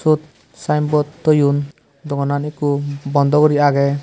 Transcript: iyot sign board thoyun dogan an ekku bondo guri age.